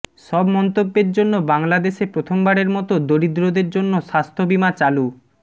সব মন্তব্যের জন্য বাংলাদেশে প্রথমবারের মতো দরিদ্রদের জন্য স্বাস্থ্য বিমা চালু